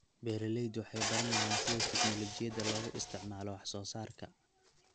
Beeraleydu waxay baranayaan sida tignoolajiyada loogu isticmaalo wax soo saarka.